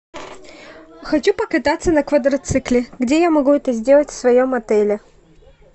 хочу покататься на квадроцикле где я могу это сделать в своем отеле